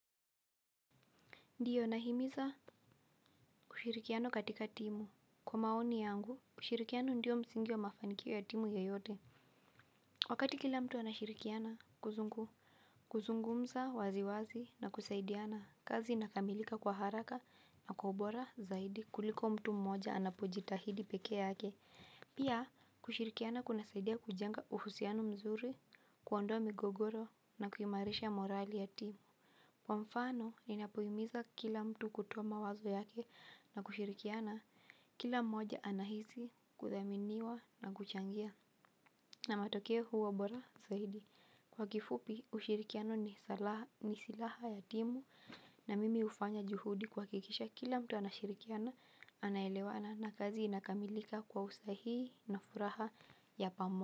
Ndiyo nahimiza ushirikiano katika timu. Kwa maoni yangu, ushirikiano ndiyo msingi wa mafanikio ya timu yoyote. Wakati kila mtu anashirikiana, kuzungumza waziwazi na kusaidiana, kazi inakamilika kwa haraka na kwa ubora zaidi kuliko mtu mmoja anapojitahidi peke yake. Pia kushirikiana kunasaidia kujenga uhusiano mzuri, kuondoa migogoro na kuimarisha morali ya timu. Kwa mfano ninapohimiza kila mtu kutoa mawazo yake na kushirikiana kila mmoja anahisi kuthaminiwa na kuchangia. Na matokeo huwa bora zaidi. Kwa kifupi ushirikiano ni silaha ya timu. Na mimi hufanya juhudi kuhakikisha kila mtu anashirikiana. Anaelewana na kazi inakamilika kwa usahihi na furaha ya pamoja.